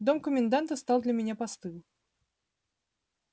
дом коменданта стал для меня постыл